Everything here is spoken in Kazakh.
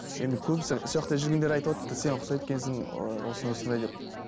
енді көбісі сояқта жүргендер айтыватты сен ұқсайды екенсің ыыы осындай осындай деп